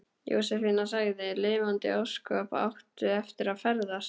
Jósefína sagði: Lifandis ósköp áttu eftir að ferðast.